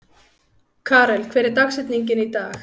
Karel, hver er dagsetningin í dag?